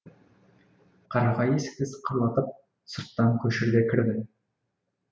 қарағай есікті сықырлатып сырттан көшеге кірді